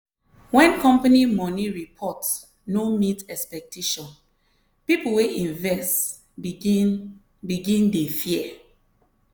when company money report no meet expectation people wey invest begin begin dey fear.